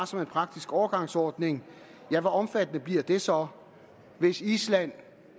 som en praktisk overgangsordning hvor omfattende bliver det så hvis island